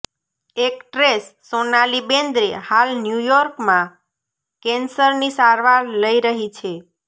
actress Sonali Bendre હાલ ન્યૂયોર્કમાં કેન્સરની સારવાર લઈ રહી છે